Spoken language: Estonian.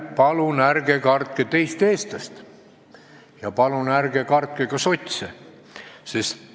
Palun ärge kartke teist eestlast ja palun ärge kartke ka sotse!